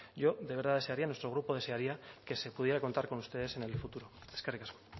yo de verdad desearía a nuestro grupo desearía que se pudiera contar con ustedes en el futuro eskerrik asko